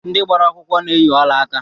Ndị gbara akwụkwọ na-eyi ọlaaka